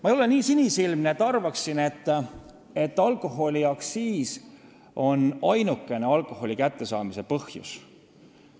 Ma ei ole nii sinisilmne, et arvaksin, nagu alkoholiaktsiis oleks ainuke asi, millest alkoholi kättesaadavus sõltub.